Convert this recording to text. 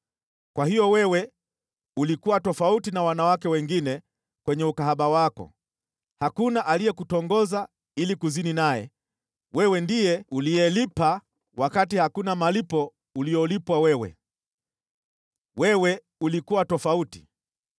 Kwa hiyo wewe ulikuwa tofauti na wanawake wengine kwenye ukahaba wako, hakuna aliyekutongoza ili kuzini naye, wewe ndiye uliyelipa wakati hakuna malipo uliyolipwa wewe. Wewe ulikuwa tofauti.